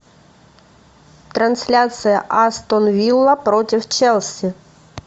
трансляция астон вилла против челси